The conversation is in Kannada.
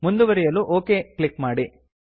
ಮುಂದುವರಿಯಲು ಒಕ್ ಕ್ಲಿಕ್ ಮಾಡಿ